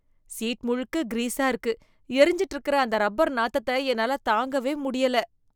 Seat முழுக்க கிரீஸா இருக்கு, எரிஞ்சுட்டு இருக்குற அந்த ரப்பர் நாத்தத்த என்னால தாங்கவே முடியல.